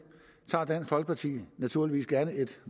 tager dansk folkeparti naturligvis gerne et